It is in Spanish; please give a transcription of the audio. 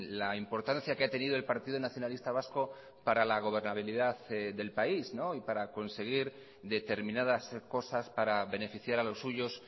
la importancia que ha tenido el partido nacionalista vasco para la gobernabilidad del país y para conseguir determinadas cosas para beneficiar a los suyos